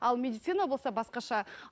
ал медицина болса басқаша